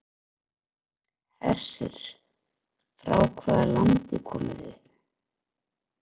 Hersir: Frá hvaða landi komið þið?